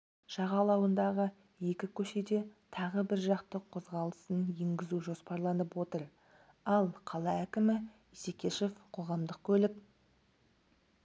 жағалауындағы екі көшеде тағы біржақты қозғалысын енгізу жоспарланып отыр ал қала әкімі исекешев қоғамдық көлік